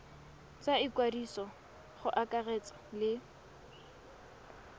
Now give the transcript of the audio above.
tsa ikwadiso go akaretsa le